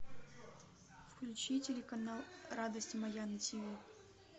включи телеканал радость моя на тв